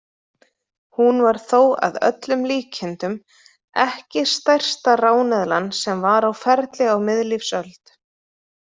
Hún var þó að öllum líkindum ekki stærsta ráneðlan sem var á ferli á miðlífsöld.